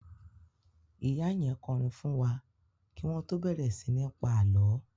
Ìyá yẹn kọrin fún wa kí wọ́n tó bẹ̀rẹ̀ sí ní pa àlọ́